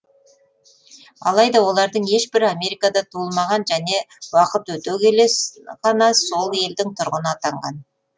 алайда олардың ешбірі америкада туылмаған және уақыт өте келе ғана сол елдің тұрғыны атанған